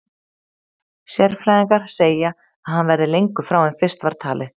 Sérfræðingar segja að hann verði lengur frá en fyrst var talið.